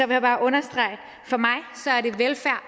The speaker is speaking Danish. vil bare understrege